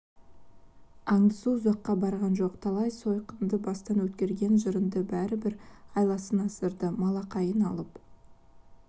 аңдысу ұзаққа барған жоқ талай сойқанды бастан өткерген жырынды бәрібір айласын асырды малақайын алып